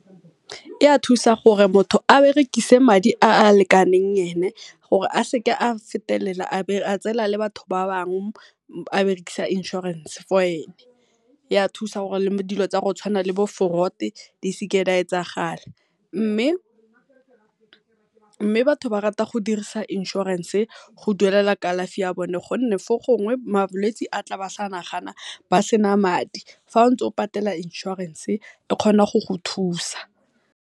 Di a thusa gore motho a berekisa madi a a lekaneng e ne, gore a seke a fetelela a tsela le batho ba bangwe a berekisa inshorense for ene. Ya thusa le gore dilo tse di tshwanang le bo fraud di seke di a etsagala, mme batho ba rata go dirisa inshorense go duelela kalafi ya bone gonne fo gongwe malwetse a tla ba sa nagana ba sena madi, fa ntse o patella inshorense e kgona go go thusa.